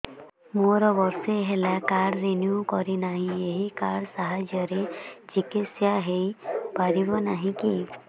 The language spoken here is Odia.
ମୋର ବର୍ଷେ ହେଲା କାର୍ଡ ରିନିଓ କରିନାହିଁ ଏହି କାର୍ଡ ସାହାଯ୍ୟରେ ଚିକିସୟା ହୈ ପାରିବନାହିଁ କି